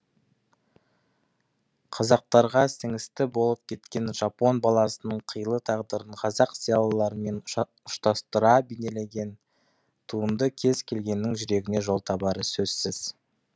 қазақтарға сіңісті болып кеткен жапон баласының қилы тағдырын қазақ зиялыларымен ұштастыра бейнелеген туынды кез келгеннің жүрегіне жол табары сөзсіз